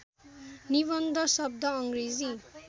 निबन्ध शब्द अङ्ग्रेजी